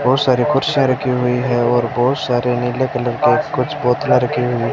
बहुत सारी कुर्सियां रखी हुई हैं और बहुत सारे नीले कलर के कुछ बोतलां रखी हुई है।